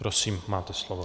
Prosím, máte slovo.